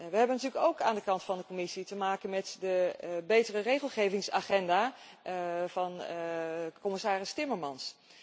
We hebben natuurlijk ook aan de kant van de Commissie te maken met de betere regelgevingsagenda van commissaris Timmermans.